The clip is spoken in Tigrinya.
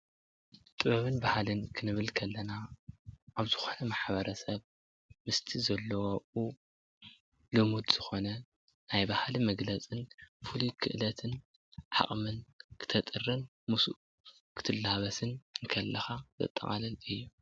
ጥበብን ባህልን ክንብል ከለና ኣብ ዝኮነ ማሕበረሰብ ምስቲ ዘሎ ኣቡኡ ልሙድ ዝኮነ ናይ ባህሊ መግለፅን ፍሉይ ክእለትን ዓቅሚ ክተጥርይ ምስኡ ክትላበስን ከለካ ዘጠቃልል እዩ፡፡